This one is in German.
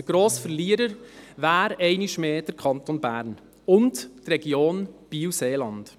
Der grosse Verlierer wäre einmal mehr der Kanton Bern und die Region BielSeeland.